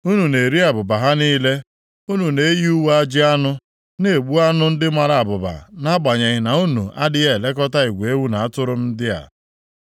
Unu na-eri abụba ha niile, unu na-eyi uwe ajị anụ, na-egbu anụ ndị mara abụba nʼagbanyeghị na unu adịghị elekọta igwe ewu na atụrụ m ndị a.